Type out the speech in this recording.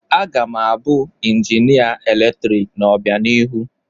Aga m abụ injinia eletrik n'obianihu.